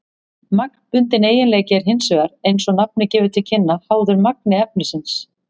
Magnbundinn eiginleiki er hins vegar, eins og nafnið gefur til kynna, háður magni efnisins.